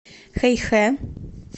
хэйхэ